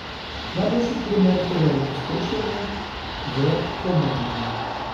Najboljši primer tega je opustošenje v Kobaniju.